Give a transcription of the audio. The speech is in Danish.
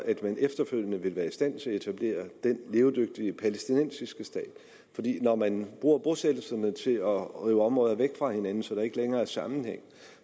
at man efterfølgende vil være i stand til at etablere en levedygtig palæstinensisk stat når man bruger bosættelserne til at rive områder væk fra hinanden så der ikke længere er sammenhæng